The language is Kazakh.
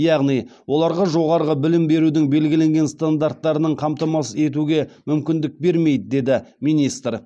яғни оларға жоғары білім берудің белгіленген стандарттарының қамтамасыз етуге мүмкіндік бермейді деді министр